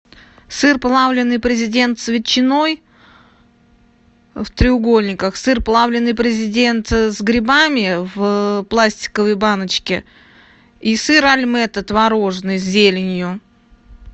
сыр плавленый президент с ветчиной в треугольниках сыр плавленый президент с грибами в пластиковой баночке и сыр альметте творожный с зеленью